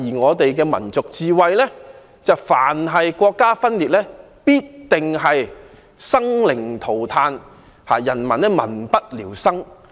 我們的民族智慧是，凡是國家分裂，必定生靈塗炭，民不聊生。